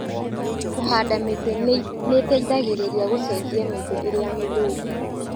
Kũhanda mĩtĩ nĩteithagĩrĩria gũcenjia mĩtĩ ĩrĩa mĩthũku